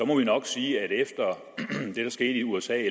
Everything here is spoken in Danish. må vi nok sige at efter det der skete i usa